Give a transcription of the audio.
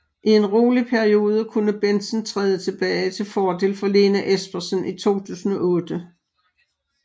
I en rolig periode kunne Bendtsen træde tilbage til fordel for Lene Espersen i 2008